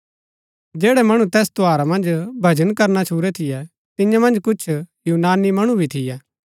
जैड़ै मणु तैस त्यौहारा मन्ज भजन करना छूरै थियै तियां मन्ज कुछ यूनानी मणु भी थियै